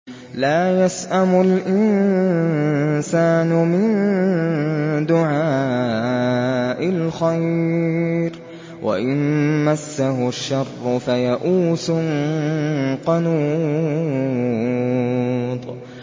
لَّا يَسْأَمُ الْإِنسَانُ مِن دُعَاءِ الْخَيْرِ وَإِن مَّسَّهُ الشَّرُّ فَيَئُوسٌ قَنُوطٌ